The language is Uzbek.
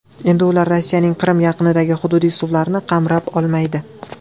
Endi ular Rossiyaning Qrim yaqinidagi hududiy suvlarini qamrab olmaydi.